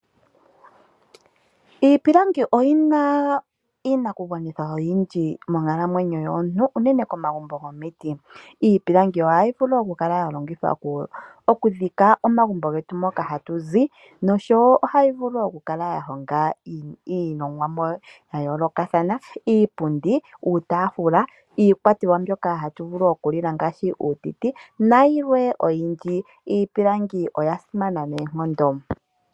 Iipilangi oyina iinaku gwanithwa oyindji monkalamwenyo yomuntu, unene komagumbo gomiti. Iipilangi ohayi vulu oku kala ya longithwa okudhika omagumbo getu, moka hatu zi noshowo ohayi vulu oku kala ya honga iilongomwa ya yoolokathana, iipundi, uutaafula, iikwatelwa mbyoka hatu vulu oku lila ngaashi uutiti nayilwe oyindji. Iipilangi oya simana noonkondo.